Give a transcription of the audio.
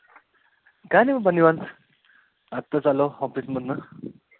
काय नाही बघ निवांत. आताचं आलो office मधनं